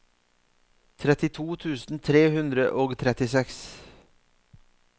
trettito tusen tre hundre og trettiseks